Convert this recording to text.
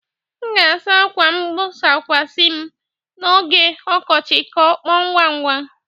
M ga-asa ákwà mgbokwasị m n'oge ọkọchị ka ọ kpọọ ngwa ngwa.